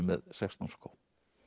með sextán skó